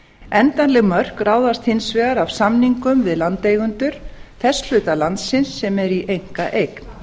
endanleg mörk ráðast hins vegar af samningum við landeigendur þess hluta landsins sem er í einkaeign